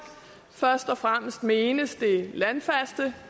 først og fremmest menes det landfaste